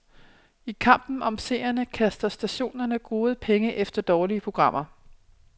I kampen om seerne kaster stationerne gode penge efter dårlige programmer.